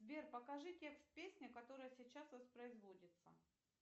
сбер покажи текст песни которая сейчас воспроизводится